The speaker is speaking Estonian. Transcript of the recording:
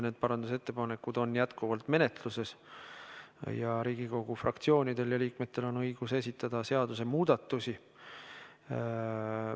Need parandusettepanekud on jätkuvalt menetluses ning Riigikogu fraktsioonidel ja liikmetel on õigus esitada seadusemuudatusi.